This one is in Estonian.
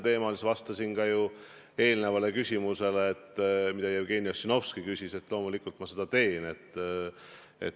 Ma vastasin ka eelmisele küsimusele, mille Jevgeni Ossinovski esitas, et loomulikult ma seda teen.